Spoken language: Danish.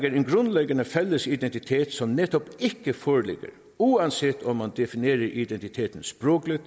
en grundliggende fælles identitet som netop ikke foreligger uanset om man definerer identiteten sprogligt